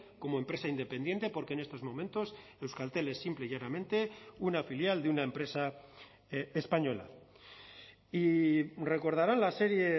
como empresa independiente porque en estos momentos euskaltel es simple y llanamente una filial de una empresa española y recordarán la serie